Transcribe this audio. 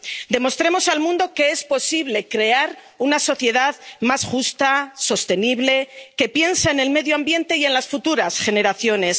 Demostremos al mundo que es posible crear una sociedad más justa, sostenible, que piensa en el medio ambiente y en las futuras generaciones